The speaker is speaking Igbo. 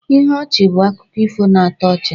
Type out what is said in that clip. Ihe ọchị bụ akụkọ ifo na-atọ ọchị